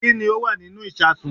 Kí ni ó wà nínú ìsasùn